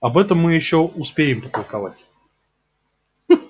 об этом мы ещё успеем потолковать